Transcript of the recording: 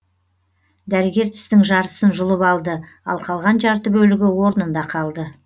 дәрігер тістің жартысын жұлып алды ал қалған жарты бөлігі орнында қалды